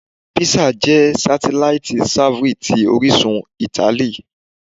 Pizza jẹ satelaiti savory ti orisun Itali